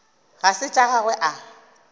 ga se tša gagwe a